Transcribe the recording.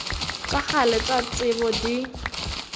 tša kgale tša tsebo di